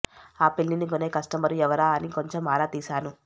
ఆ పిల్లిని కొనే కస్టమరు ఎవరా అని కొంచెం ఆరా తీశాను